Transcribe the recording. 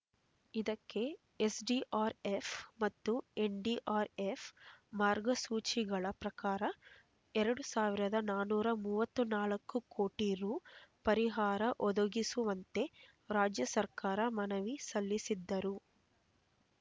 ಇದಕ್ಕೆ ಎಸ್ಡಿಆರ್ಎಫ್ ಮತ್ತು ಎನ್ಡಿಆರ್ಎಫ್ ಮಾರ್ಗಸೂಚಿಗಳ ಪ್ರಕಾರ ಎರಡು ಸಾವಿರದ ನಾನೂರ ಮೂವತ್ತು ನಾಲ್ಕು ಕೋಟಿ ರೂ ಪರಿಹಾರ ಒದಗಿಸುವಂತೆ ರಾಜ್ಯ ಸರ್ಕಾರ ಮನವಿ ಸಲ್ಲಿಸಿದ್ದರೂ